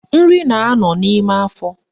Nri na-anọ n'ime afọ